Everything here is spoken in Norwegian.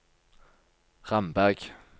Ramberg